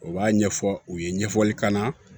U b'a ɲɛfɔ u ye ɲɛfɔli k'an na